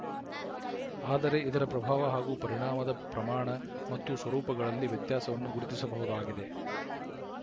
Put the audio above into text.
ಆದರೆ ಇದರ ಪ್ರಭಾವ ಹಾಗೂ ಪರಿಣಾಮದ ಪ್ರಮಾಣ ಮತ್ತು ಸ್ವರೂಪಗಳಲ್ಲಿ ವ್ಯತ್ಯಾಸವನ್ನು ಗುರುತಿಸಬಹುದಾಗಿದೆ